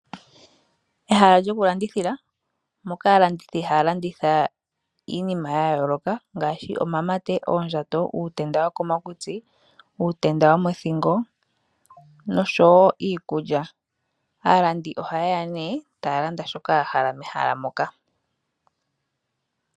Ehala lyokulandithila, moka aalandithi haya landitha iinima yayooloka, ngaashi omamate, oondjato, uutenda wokomakutsi, uutenda womothingo, noshowo iikulya. Aalandi oha yeya nee taya landa shoka ya hala mehala moka.